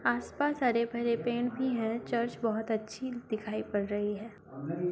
आसपास हरे भरे पेड़ भी हैं चर्च बहुत अच्छी दिखाई पड़ रही है।